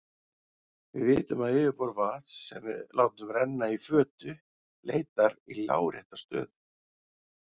Við vitum að yfirborð vatns sem við látum renna í fötu leitar í lárétta stöðu.